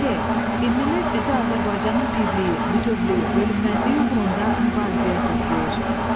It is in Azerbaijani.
Ç. Himnimiz bizi Azərbaycanın birliyi, bütövlüyü, bölünməzliyi uğrunda mübarizəyə səsləyir.